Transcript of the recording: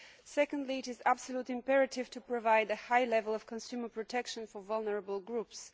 Secondly, it is absolutely imperative to provide a high level of consumer protection for vulnerable groups.